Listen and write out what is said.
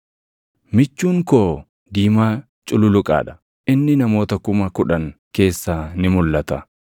Michuun koo diimaa cululuqaa dha; inni namoota kuma kudhan keessaa ni mulʼata.